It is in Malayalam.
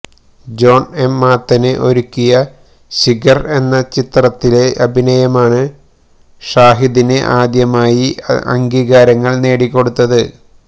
ജോണ് എം മാത്തന് ഒരുക്കിയ ശിഖര് എന്ന ചിത്രത്തിലെ അഭിനയമാണ് ഷാഹിദിന് ആദ്യമായി അംഗീകാരങ്ങള് നേടിക്കൊടുത്ത്